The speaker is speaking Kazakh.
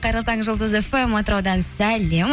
қайырлы таң жұлдыз фм атыраудан сәлем